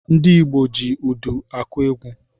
Ndị Igbo ji údù akụ egwu.